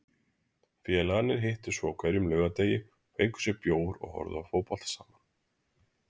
Félagarnir hittust svo á hverjum laugardegi og fengu sér bjór og horfðu á fótbolta saman.